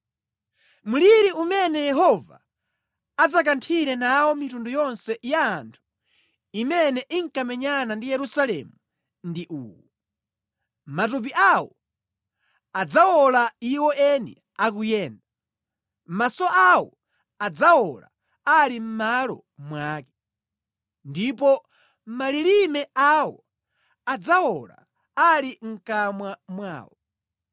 Mliri umene Yehova adzakanthire nawo mitundu yonse ya anthu imene inkamenyana ndi Yerusalemu ndi uwu: Matupi awo adzawola iwo eni akuyenda, maso awo adzawola ali mʼmalo mwake, ndipo malilime awo adzawola ali mʼkamwa mwawo.